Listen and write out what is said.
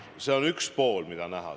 See on üks pool, mida võib näha.